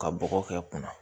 Ka bɔgɔ kɛ kunna